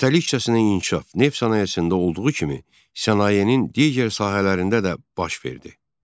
Kapitalizm inkişaf, neft sənayesində olduğu kimi sənayenin digər sahələrində də baş verdi.